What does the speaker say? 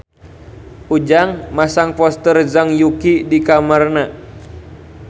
Ujang masang poster Zhang Yuqi di kamarna